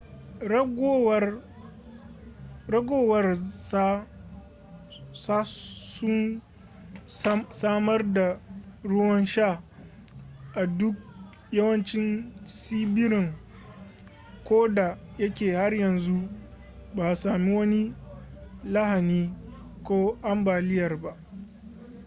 ragowar sa sun samar da ruwan sha a duk yawancin tsibirin koda yake har yanzu ba a sami wani lahani ko ambaliyar ba